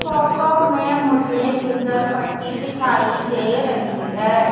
Photo मे मुझे घीसलपट्टी दिखाई दे रही है।